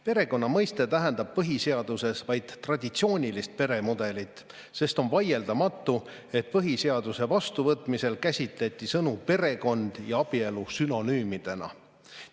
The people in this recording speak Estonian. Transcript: Perekonna mõiste tähendab põhiseaduses vaid traditsioonilist peremudelit, sest on vaieldamatu, et põhiseaduse vastuvõtmisel käsitleti sõnu "perekond" ja "abielu" sünonüümidena.